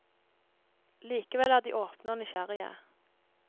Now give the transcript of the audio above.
Likevel er de åpne og nysgjerrige.